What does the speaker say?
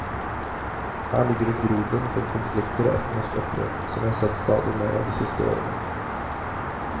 Her ligger det grobunn for konflikter og etniske opprør, som vi har sett stadig mer av i de siste årene.